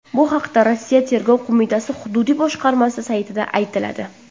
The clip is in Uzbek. Bu haqda Rossiya tergov qo‘mitasi hududiy boshqarmasi saytida aytiladi .